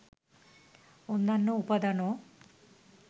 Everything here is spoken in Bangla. অন্যান্য উপাদানও